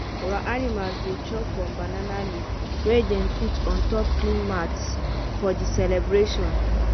our animals dey chop from banana leave wey them put on top clean mats for the celebration.